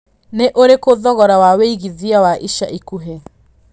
nĩ ũrikũ thogora wa wĩigĩthĩa wa ĩca ĩkũhĩ